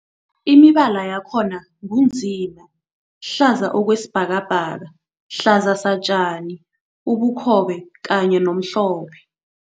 Imibala yakhona ngu nzima, hlaza okwesibhakabhaka, hlaza satjani, ubukhobe kanye nomhlophe.